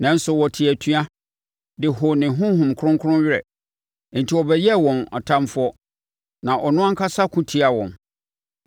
Nanso, wɔtee atua de hoo ne Honhom Kronkron werɛ. Enti ɔbɛyɛɛ wɔn ɔtamfoɔ na ɔno ankasa ko tiaa wɔn.